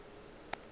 a gagwe a be a